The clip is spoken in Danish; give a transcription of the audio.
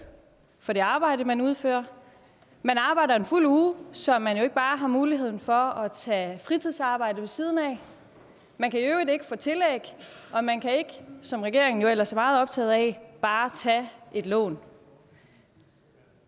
for det arbejde man udfører man arbejder en fuld uge så man jo ikke bare har mulighed for at tage fritidsarbejde ved siden af man kan i øvrigt ikke få tillæg og man kan ikke som regeringen ellers er meget optaget af bare tage et lån